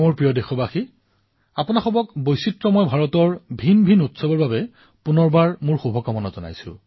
মোৰ মৰমৰ দেশবাসীসকল আপোনালোকক পুনৰবাৰ বৈচিত্ৰতাৰে ভৰা ভাৰতৰ বিবিধবিবিধ উৎসৱৰ বাবে অশেষ শুভকামনা জনালো